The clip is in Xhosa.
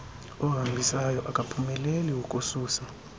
ohambisayo akaphumeleli ukususa